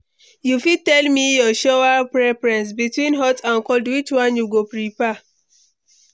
You fit tell me your shower preference, between hot and cold which one you go prefer?